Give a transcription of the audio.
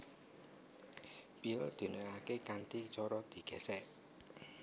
Piyul diunèkaké kanthi cara digèsèk